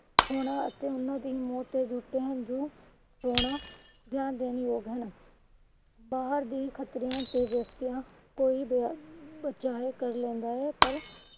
ਹੋਣਾ ਅਤੇ ਉਹਨਾਂ ਦੀ ਮੌਤ ਤੇ ਦਿੱਤੇ ਹੰਜੂ ਹੋਣਾ ਜਾਂ ਬਾਹਰ ਦੀ ਖਚਰੀਆਂ ਬਚਾ ਕਰ ਲੈਂਦਾ ਹੈ ਪਰ